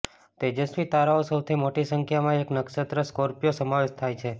તેજસ્વી તારાઓ સૌથી મોટી સંખ્યામાં એક નક્ષત્ર સ્કોર્પિયો સમાવેશ થાય છે